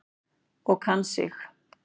Og kann sig.